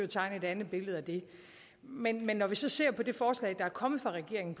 tegne et andet billede af det men når vi så ser på det forslag der er kommet fra regeringen